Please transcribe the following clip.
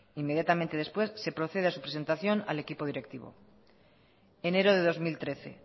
inmediatamente después se procede a su presentación al equipo directivo enero de dos mil trece